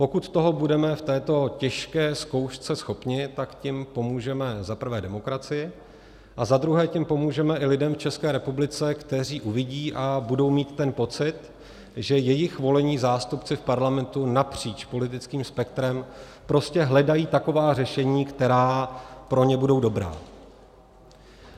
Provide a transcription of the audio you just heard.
Pokud toho budeme v této těžké zkoušce schopni, tak tím pomůžeme za prvé demokracii a za druhé tím pomůžeme i lidem v České republice, kteří uvidí a budou mít ten pocit, že jejich volení zástupci v Parlamentu napříč politickým spektrem prostě hledají taková řešení, která pro ně budou dobrá.